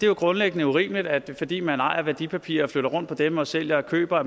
jo grundlæggende urimeligt at man fordi man ejer værdipapirer og flytter rundt på dem og sælger og køber